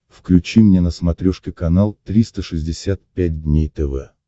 включи мне на смотрешке канал триста шестьдесят пять дней тв